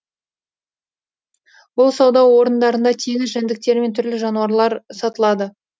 бұл сауда орындарында теңіз жәндіктері мен түрлі жануарлар сатылады